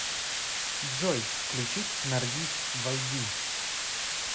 джой включить наргиз войди